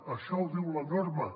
això ho diu la norma